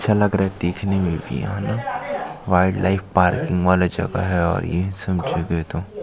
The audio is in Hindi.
अच्छा लग रहा है देखने में भी वाइल्ड लाइफ पार्किंग वाले जगह है और ये समझे गए तो --